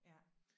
Ja